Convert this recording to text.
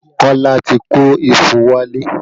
Kola ti kó ifo wálé